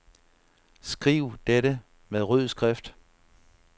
Skriv dette med rød skrift.